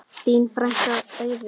Þín frænka, Auður.